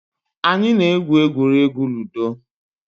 Anyị na-egwu egwuregwu ludo